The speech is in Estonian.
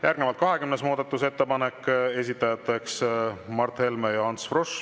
Järgnevalt 20. muudatusettepanek, esitajateks Mart Helme ja Ants Frosch.